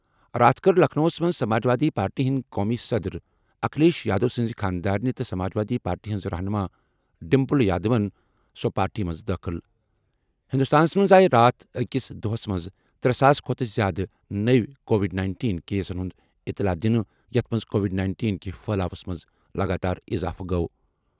راتھ کٔر لکھنؤَس منٛز سماجوادی پارٹی ہنٛدۍ قومی صدر، اکھلیش یادو سٕنٛز خانٛدارنہ تہٕ سماجوادی پارٹی ہٕنٛز رہنُما ڈِمپل یادوَن سُہ پارٹی منٛز دٲخلہٕ۔ ہندوستانَس منٛز آیہِ راتھ أکِس دۄہَس منٛز ترٛےٚ ساس کھۄتہٕ زِیٛادٕ نٔوۍ کووِڈ-19 کیسَن ہُنٛد اطلاع دِنہٕ، یَتھ منٛز کووِڈ-19 کہِ پھیلاوَس منٛز لَگاتار اضافہٕ گوٚو۔